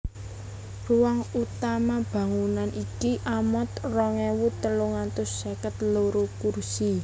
Ruang utama bangunan iki amot rong ewu telung atus seket loro kursi